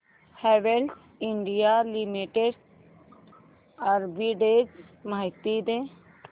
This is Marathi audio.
हॅवेल्स इंडिया लिमिटेड आर्बिट्रेज माहिती दे